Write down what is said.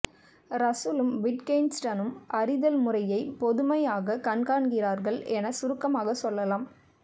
ரஸ்ஸலும் விட்கென்ஸ்டைனும் அறிதல்முறையைப் பொதுமையமாக காண்கிறார்கள் என சுருக்கமாகச் சொல்லலாம்